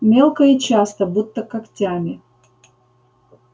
мелко и часто будто когтями